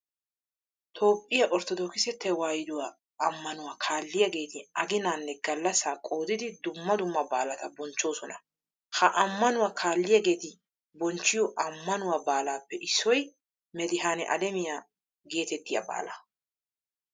Toophphiya orttodookise tewaahiduwa ammanuwa kaalliyageeti aginaanne gallasaa qoodidi dumma dumma baalata bonchchoosona. Ha ammanuwa kaalliyageeti bochchiyo ammanuwa baalaappe issoy medihaane alemiya heetettiya baalaa.